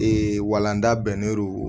walanda bɛnnɛdo